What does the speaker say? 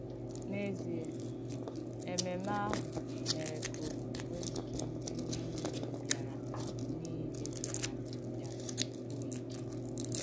N’èzìe, èmèmmè àhụ mèrè kà òkwùkwè nkè ndí nìlè bìarà nìlè bìarà ya sìkwuò ìkè.